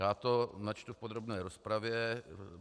Já to načtu v podrobné rozpravě.